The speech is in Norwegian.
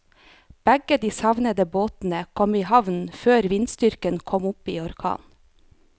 Begge de savnede båtene kom i havn før vindstyrken kom opp i orkan.